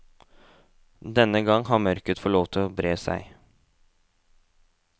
Denne gang har mørket fått lov til å bre seg.